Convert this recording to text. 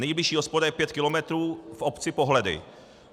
Nejbližší hospoda je pět kilometrů v obci Pohledy.